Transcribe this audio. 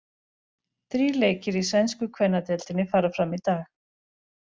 Þrír leikir í sænsku kvennadeildinni fara fram í dag.